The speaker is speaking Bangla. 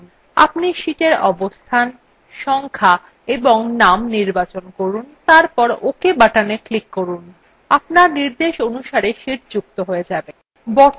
আপনি শীটের অবস্থান সংখ্যা of name নির্বাচন করুন এবং তারপর ok button click করুন আপনার নির্দেশ অনুসারে sheets যুক্ত হয়ে যাবে